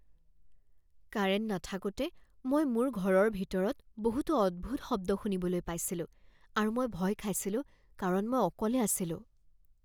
Current নাথাকোতে মই মোৰ ঘৰৰ ভিতৰত বহুতো অদ্ভুত শব্দ শুনিবলৈ পাইছিলোঁ আৰু মই ভয় খাইছিলোঁ কাৰণ মই অকলে আছিলোঁ।